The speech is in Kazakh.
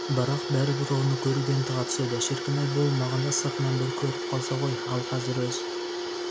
бірақ бәрібір оны көруге ынтыға түседі шіркін-ай болмағанда сыртынан бір көріп қалса ғой ал қазір өз